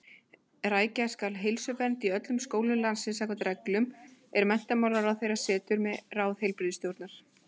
Rækja skal heilsuvernd í öllum skólum landsins samkvæmt reglum, er menntamálaráðherra setur með ráði heilbrigðisstjórnar.